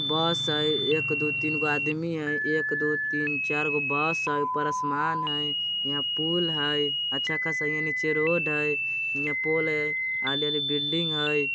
बस हइ एक दो तीन गो आदमी हइ। एक दो तीन चारगो बस हइ। ऊपर आसमान हइ हियाँ पूल हइ अच्छा खासा हियें। नीचे यह रोड हइ हियाँ पोल हइ आगे बिल्डिंग हइ।